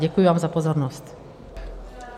Děkuji vám za pozornost.